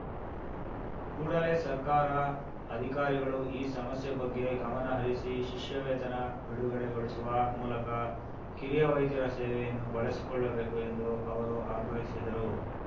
ಕೂಡಲೇ ಸರ್ಕಾರ ಅಧಿಕಾರಿಗಳು ಈ ಸಮಸ್ಯೆ ಬಗ್ಗೆ ಗಮನಹರಿಸಿ ಶಿಷ್ಯ ವೇತನ ಬಿಡುಗಡೆಗೊಳಿಸುವ ಮೂಲಕ ಕಿರಿಯ ವೈದ್ಯರ ಸೇವೆಯನ್ನು ಬಳಸಿಕೊಳ್ಳಬೇಕು ಎಂದು ಅವರು ಅಗ್ರಹಿಸಿದರು